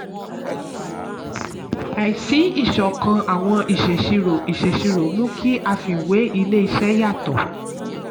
àìsí ìṣọ̀kan àwọn ìṣèṣirò ìṣèṣirò mú kí àfiwé ilé-isé yàtọ̀.